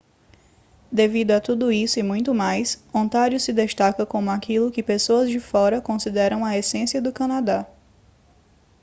devido a tudo isso e muito mais ontário se destaca como aquilo que pessoas de fora consideram a essência do canadá